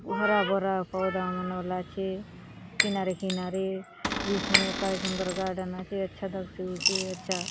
हरा भरा पौधा मन हला चे किनारे - किनारे बीच में काय सुंदर गार्डन आचे अच्छा दखसि आचे अच्छा --